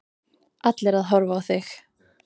Allir að horfa á þig.